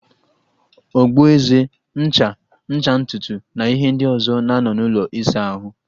Ogboeze, ncha, ncha ntutu na ihe ndi ọzo na-anọ n'ụlọ ịsa ahụ